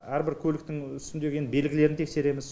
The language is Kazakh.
әрбір көліктің үстіндегі енді белгілерін тексереміз